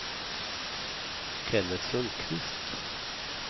Kenneth Sundkvist